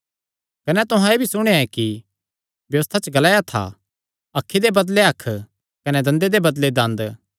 कने तुहां एह़ भी सुणेया ऐ कि व्यबस्था च ग्लाया था अखी दे बदले अख कने दंदे दे बदले दंद